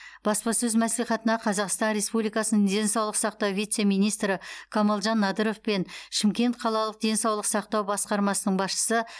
баспасөз мәслихатына қазақстан республикасының денсаулық сақтау вице министрі камалжан надыров пен шымкент қалалық денсаулық сақтау басқармасының басшысы